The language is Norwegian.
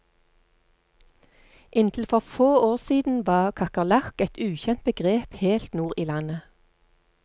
Inntil for få år siden var kakerlakk et ukjent begrep helt nord i landet.